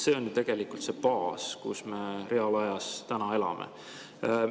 See on tegelikult see baas, kus me reaalajas täna elame.